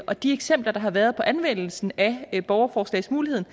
at de eksempler der har været på anvendelsen af borgerforslagsmuligheden